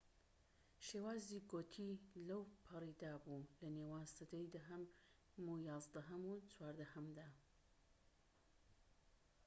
شێوازی گۆتی لەوپەڕیدا بوو لە نێوان سەدەی دەهەم و یازدەهەم و چواردەهەمدا